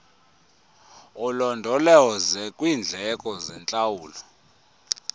ulondoloze kwiindleko zentlawulo